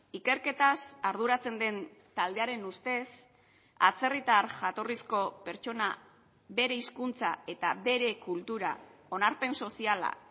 ikerketaz arduratzen den taldearen ustez atzerritar jatorrizko pertsona bere hizkuntza eta bere kultura onarpen soziala